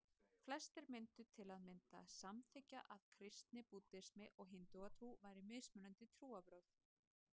Flestir myndu til að mynda samþykkja að kristni, búddismi og hindúatrú væru mismunandi trúarbrögð.